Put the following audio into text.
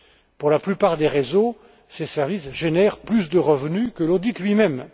Pour la plupart des réseaux, ces services génèrent plus de revenus que l'audit lui même.